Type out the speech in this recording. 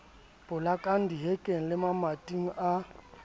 polakwang dihekeng le mamating a